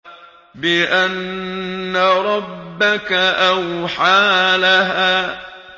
بِأَنَّ رَبَّكَ أَوْحَىٰ لَهَا